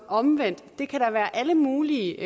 omvendt der kan være alle mulige